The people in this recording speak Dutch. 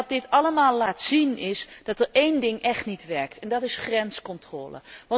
En wat dit allemaal laat zien, is dat er één ding echt niet werkt en dat is grenscontrole.